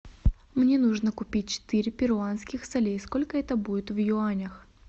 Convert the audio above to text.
мне нужно купить четыре перуанских солей сколько это будет в юанях